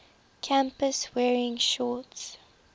campus wearing shorts